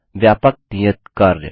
व्यापक नियत कार्य